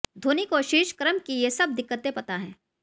धोनी को शीर्ष क्रम की ये सब दिकक्तें पता हैं